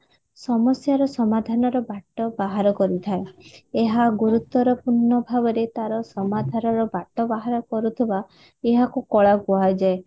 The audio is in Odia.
ସମସ୍ୟାର ସମାଧାନର ବାଟ ବାହାର କରୁଥାଏ ଏହା ଗୁରୁତର ପୂର୍ଣ ଭାବରେ ତାର ସମାଧାନର ବାଟ ବାହାର କରୁଥିବା ଏହାକୁ କଳା କୁହାଯାଏ